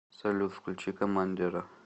салют включи коммандера